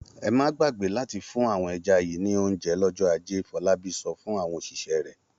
Ẹ má gbàgbé láti fún àwọn ẹja yìí ní oúnjẹ lọ́jọ́ ajé! Fọlábí sọ fún àwọn òṣìṣẹ́ rẹ̀.